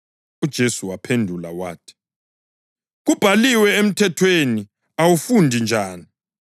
UJesu waphendula wathi, “Kubhalweni emthethweni, uwufunda njani?”